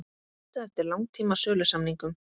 Leitað eftir langtíma sölusamningum